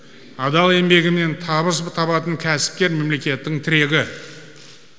адал еңбегімен табыс табатын кәсіпкер мемлекеттің тірегі